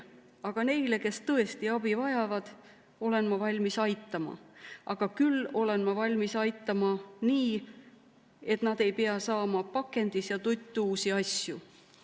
Aga neid, kes tõesti abi vajavad, olen ma valmis aitama, küll aga olen ma valmis aitama nii, et nad ei pea saama pakendis ja tuttuusi asju.